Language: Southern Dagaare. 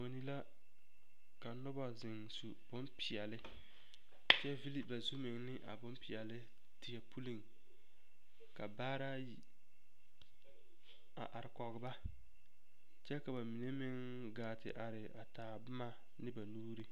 Boni la ka noba zeŋ su bompeɛle kyɛ vili ba zu meŋ bompeɛle teɛ puliŋ ka baare ayi a are kɔge ba kyɛ ka ba mine meŋ gaa te are a taa boma ne ba nuuri.